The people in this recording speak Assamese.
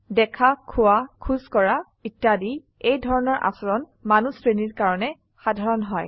দেখা খোযৱা খোজ কৰা ইত্যাদি এই ধৰনৰ আচৰণ মানুহ শ্ৰেণীৰ কাৰনে সাধাৰণ হয়